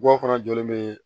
Bɔ fana jɔlen bee